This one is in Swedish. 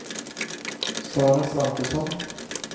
Sara Svantesson